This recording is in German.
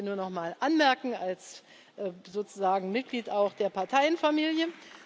Das will ich hier nur noch mal anmerken, als sozusagen Mitglied auch der Parteienfamilie.